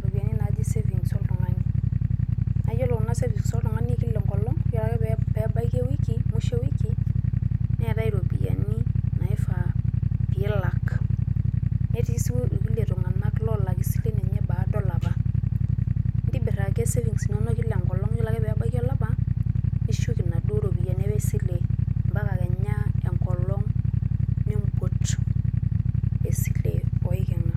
ropiyiani naaji savings oltung`ani. Naa iyiolo kuna savings oltung`ani e kila enkolong. Yiolo ake pee ebaiki ewiki musho e wiki neetae irropiyiani naifaa pee ilak, netii sii ilkulie tung`anak loolak isilen enye baada olapa. Intibirr ake savings inonok kila enkolong yiolo ake pee ebaiki olapa nishuk inaduo ropiyiani e sile mpaka kenya enkolong nimput esile oiking`a.